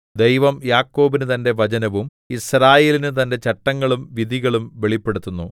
ദൈവം യാക്കോബിന് തന്റെ വചനവും യിസ്രായേലിന് തന്റെ ചട്ടങ്ങളും വിധികളും വെളിപ്പെടുത്തുന്നു